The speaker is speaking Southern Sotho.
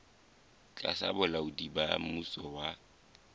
tlasa bolaodi ba mmuso wa